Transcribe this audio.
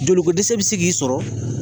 Joli ko dɛsɛ bɛ se k'i sɔrɔ